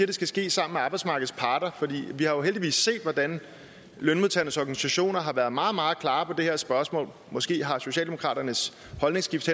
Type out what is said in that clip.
det skal ske sammen med arbejdsmarkedets parter fordi vi jo heldigvis har set hvordan lønmodtagernes organisationer har været meget meget klare på det her spørgsmål måske har socialdemokraternes holdningsskift